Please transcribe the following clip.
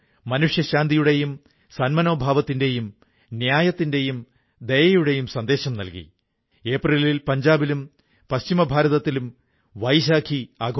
അതുകൊണ്ട് പുതിയ കാർഷിക നിയമത്തിൽ നിറയെ അടിസ്ഥാന തലത്തിൽ കർഷകർക്കനുകൂലമായ മാറ്റം ഉണ്ടാക്കാനുള്ള സാധ്യതകൾ നിറഞ്ഞിരിക്കുന്നതെങ്ങനെയെന്ന് നമുക്കു മനസ്സിലാക്കാനാകുന്നു